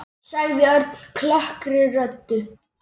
sagði Örn klökkri röddu.